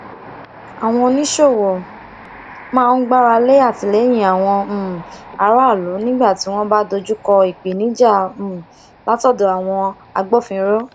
àwọn oníṣòwò máa ń gbáralé atìlẹyìn àwọn um aráàlú nígbà tí wọn bá dojúkọ ìpèníjà um látọdọ àwọn agbófinró